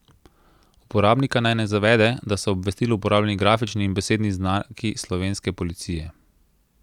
Uporabnika naj ne zavede, da so v obvestilu uporabljeni grafični in besedni znaki slovenske policije.